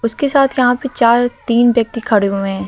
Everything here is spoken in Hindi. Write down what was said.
उसके साथ यहां पे चार तीन व्यक्ति खड़े हुए हैं।